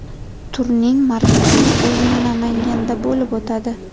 Turning markaziy o‘yini Namanganda bo‘lib o‘tadi.